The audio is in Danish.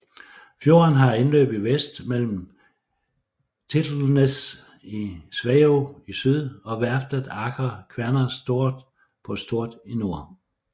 Fjorden har indløb i vest mellem Tittelsnes i Sveio i syd og værftet Aker Kværner Stord på Stord i nord